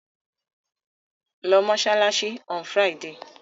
Lọ mọ́ṣáláṣí on Friday!